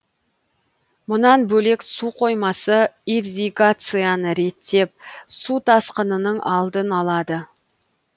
мұнан бөлек су қоймасы ирригацияны реттеп су тасқынының алдын алады